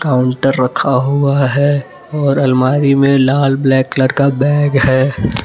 Counter रखा हुआ है और अलमारी में लाल ब्लैक कलर का बैग है।